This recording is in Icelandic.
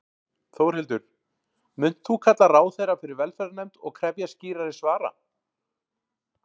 Þórhildur: Munt þú kalla ráðherra fyrir velferðarnefnd og krefjast skýrari svara?